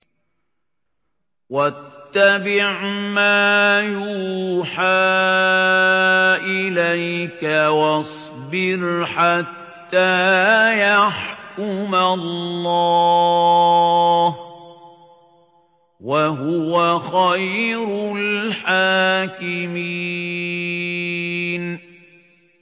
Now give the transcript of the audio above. وَاتَّبِعْ مَا يُوحَىٰ إِلَيْكَ وَاصْبِرْ حَتَّىٰ يَحْكُمَ اللَّهُ ۚ وَهُوَ خَيْرُ الْحَاكِمِينَ